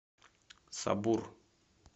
сабур